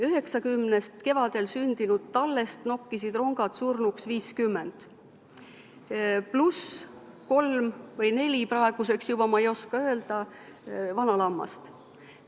90-st kevadel sündinud tallest nokkisid rongad surnuks 50, pluss kolm või neli – ma ei oska öelda – praeguseks juba vana lammast.